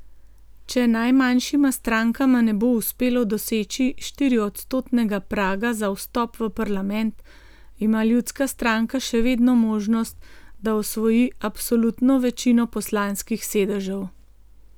Če najmanjšima strankama ne bo uspelo doseči štiriodstotnega praga za vstop v parlament, ima Ljudska stranka še vedno možnost, da osvoji absolutno večino poslanskih sedežev.